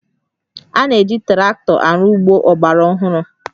A na-eji traktọ arụ ọrụ ugbo ọgbara ọhụrụ